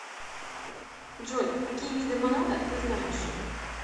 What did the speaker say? джой какие виды монада ты знаешь